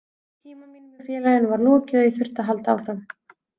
Tíma mínum hjá félaginu var lokið og ég þurfti að halda áfram.